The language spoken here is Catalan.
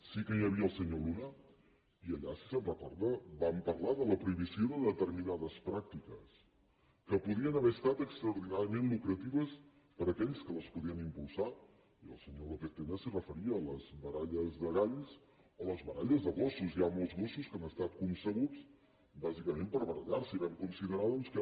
sí que hi havia el senyor luna i allà si se’n recorda vam parlar de la prohibició de determinades pràctiques que podien haver estat extraordinàriament lucratives per a aquells que les podien impulsar i el senyor lópez tena s’hi referia les baralles de galls o les baralles de gossos hi ha molts gossos que han estat concebuts bàsicament per barallar se i vam considerar doncs que